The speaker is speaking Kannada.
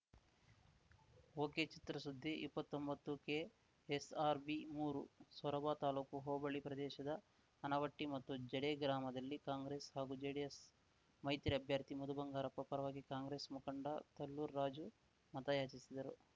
ಒಕೆ ಚಿತ್ರಸುದ್ದಿ ಇಪ್ಪತ್ತೊಂಬತ್ತುಕೆ ಎಸ್‌ ಆರ್‌ ಬಿಮೂರು ಸೊರಬ ತಾಲೂಕು ಹೋಬಳಿ ಪ್ರದೇಶದ ಅನವಟ್ಟಿಮತ್ತು ಜಡೆ ಗ್ರಾಮದಲ್ಲಿ ಕಾಂಗ್ರೆಸ್‌ ಹಾಗು ಜೆಡಿಎಸ್‌ ಮೈತ್ರಿ ಅಭ್ಯರ್ಥಿ ಮಧುಬಂಗಾರಪ್ಪ ಪರವಾಗಿ ಕಾಂಗ್ರೆಸ್‌ ಮುಖಂಡ ತಲ್ಲೂರು ರಾಜು ಮತಯಾಚಿಸಿದರು